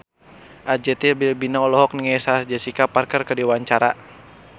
Arzetti Bilbina olohok ningali Sarah Jessica Parker keur diwawancara